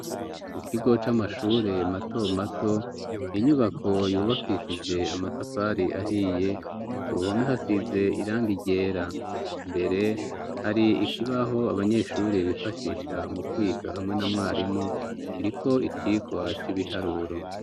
Mu kigo c'amashure mato mato inyubako yubakishije amatafari ahiye ku ruhomi hasize iranga iryera mbere hari ikibaho abanyeshuri bifashisha mu kwiga hamwe na mwarimu iriko icirwa c' ibiharuro.